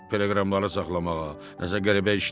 Teleqramları saxlamağa nəsə qəribə işdir.